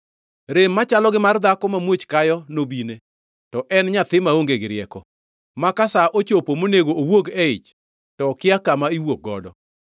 Rem machalo gi mar dhako mamuoch kayo nobine, to en nyathi maonge gi rieko, ma ka sa ochopo monego owuog e ich to okia kama iwuok godo.